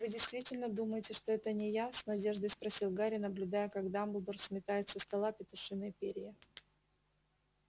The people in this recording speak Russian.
вы действительно думаете что это не я с надеждой спросил гарри наблюдая как дамблдор сметает со стола петушиные перья